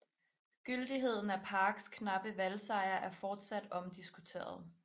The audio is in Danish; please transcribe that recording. Gyldigheden af Parks knappe valgsejr er fortsat omdiskuteret